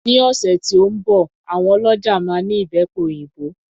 Ní ọ̀sẹ̀ tí ó ń bọ̀ àwọn ọlọ́ja máa ní Ìbẹ́pe òyìnbó.